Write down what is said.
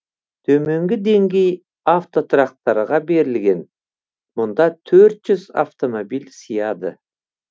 төменгі деңгей автотұрақтарға берілген мұнда төрт жүз автомобиль сыяды